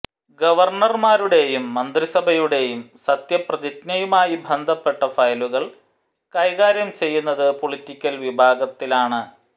ഗവർണർമാരുടെയും മന്ത്രിസഭയുടേയും സത്യപ്രതിജ്ഞയുമായി ബന്ധപ്പെട്ട ഫയലുകൾ കൈകാര്യം ചെയ്യുന്നത് പൊളിറ്റിക്കൽ വിഭാഗത്തിലാണ്